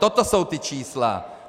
Toto jsou ta čísla.